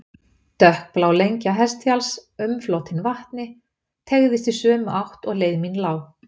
Dökkblá lengja Hestfjalls, umflotin vatni, teygðist í sömu átt og leið mín lá.